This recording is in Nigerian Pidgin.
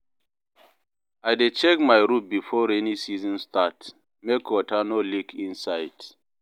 I dey check my roof before rainy season start, make water no leak inside.